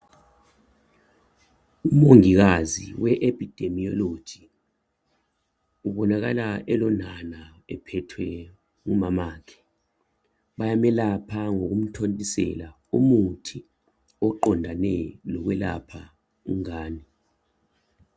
Umongikazi we Epidemiology ubonakala elonana ephethwe ngumamakhe bayamelapha ngokumthontisela umuthi oqondane lokwelapha umntwana.